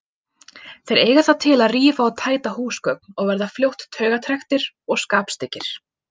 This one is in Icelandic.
Þeir eiga það til að rífa og tæta húsgögn og verða fljótt taugatrekktir og skapstyggir.